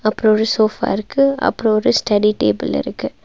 அப்றோ ஒரு சோஃபா இருக்கு அப்றோ ஒரு ஸ்டடி டேபிள் இருக்கு.